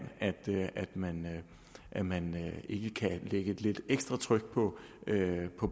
at mand at man ikke kan lægge et lidt ekstra tryk på